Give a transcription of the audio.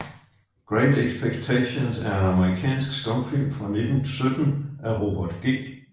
Great Expectations er en amerikansk stumfilm fra 1917 af Robert G